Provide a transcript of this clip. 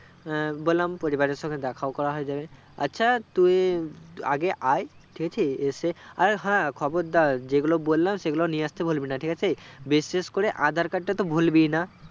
বলাম পরিবারের সংঘে দেখাও করা হয়ে যাবে আচ্ছা তু আগে আই ঠিক আছে এসে আর হ্যাঁ খবদার যেগুলো বলাম সেগুলো নিয়ে আস্তে ভুলবি না ঠিকাছে বিশেষ করে aadhar card টা তো ভুলবি না